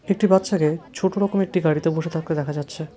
একটি বাচ্চাকে ছোট রকম একটি গাড়িতে বসে থাকতে দেখা যাচ্ছে।